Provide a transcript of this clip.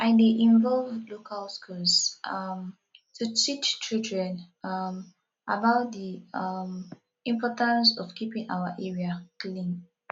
i dey involve local schools um to teach children um about di um importance of keeping our area clean